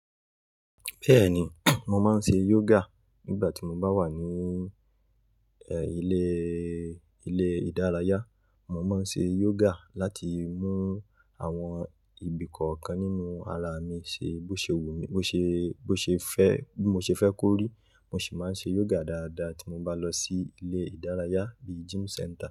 Bẹ́ẹ̀ni, mo máa ń ṣe yoga nígbà tí mo bá wà ní, ẹ́, ilé, ilé ìdárayá. Mo máa ń ṣe yoga láti mú àwọn ibi kọ̀ọ̀kan nínú ara mi ṣe, bó ṣe wù mí, bó ṣe, bó ṣe fẹ́, bí mo ṣe fẹ́ kórí. Mo sì máa ń ṣe yoga dáadáa tí mo bá lọ sí ilé ìdárayá bíi gym centre.